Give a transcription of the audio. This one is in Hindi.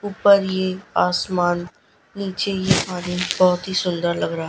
ऊपर ये आसमान नीचे ये पानी बहोत ही सुंदर लग रा--